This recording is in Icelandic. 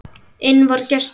Inn vari gestur